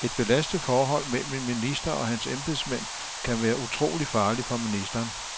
Et belastet forhold mellem en minister og hans embedsmænd kan være utrolig farligt for ministeren.